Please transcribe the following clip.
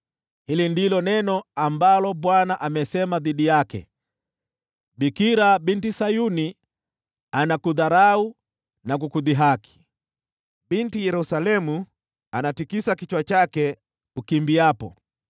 hili ndilo neno ambalo Bwana amelisema dhidi yake: “Bikira binti Sayuni anakudharau na kukudhihaki. Binti Yerusalemu anatikisa kichwa chake unapokimbia.